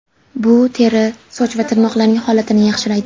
Bu teri, soch va tirnoqlarning holatini yaxshilaydi.